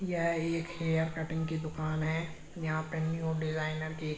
यह एक hair cutting की दुकान है। यहां पर न्यू डिजाइनर की --